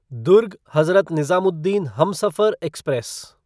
Durg Hazrat Nizamuddin Humsafar express